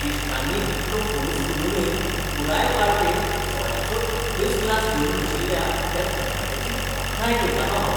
इश्टांनी इतलो फोर्स करूनय पुराय पार्टेंत सोऱ्याचो एकच ग्लास घेवन बशिल्ल्या त्या तरणाट्याची तोखणाय करतालों हांव.